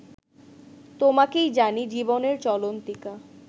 তোমাকেই জানি জীবনের চলন্তিকা